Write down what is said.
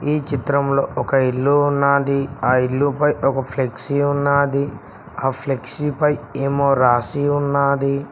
ఈ చిత్రంలో ఒక ఇల్లు ఉన్నది ఆ ఇల్లు పై ఓక ఫ్లెక్సీ ఉన్నది ఆ ఫ్లెక్సీ పై ఏమో రాసి ఉన్నది.